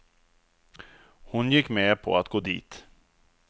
Hon gick med på att gå dit.